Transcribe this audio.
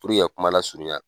Puruke ka kuma lasurunya.